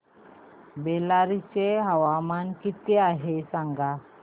बेल्लारी चे तापमान किती आहे सांगा